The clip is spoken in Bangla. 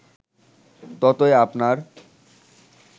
ততই আপনার